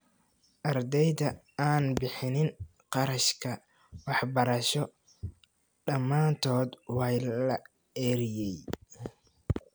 Ardeyda aan bixinin qarashka waxbarasho dhamaantood waa la eryey